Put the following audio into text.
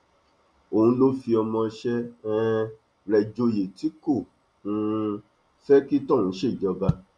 òun ló fi ọmọọṣẹ um rẹ joyè tí kò um fẹ kí tọhún ṣèjọba